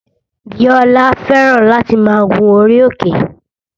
Bíólá fẹ́ràn láti máa gun orí òkè